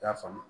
I y'a faamu